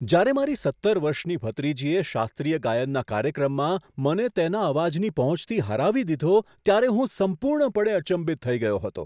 જ્યારે મારી સત્તર વર્ષની ભત્રીજીએ શાસ્ત્રીય ગાયનનાં કાર્યક્રમમાં મને તેના અવાજની પહોંચથી હરાવી દીધો ત્યારે હું સંપૂર્ણપણે અચંબિત થઈ ગયો હતો.